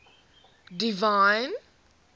divine